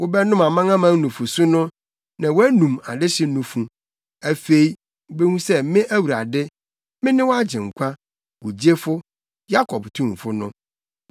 Wobɛnom amanaman nufusu no na woanum adehye nufu. Afei wubehu sɛ me Awurade, me ne wo Agyenkwa, wo gyefo, Yakob Tumfo no.